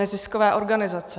Neziskové organizace!